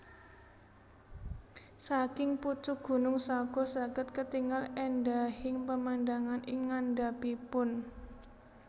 Saking pucuk gunung Sago saged ketingal endahing pemandangan ing ngandhapipun